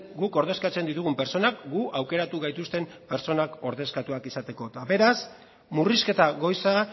guk ordezkatzen ditugun pertsonak gu aukeratu gaituzten pertsonak ordezkatuak izateko eta beraz murrizketa goiza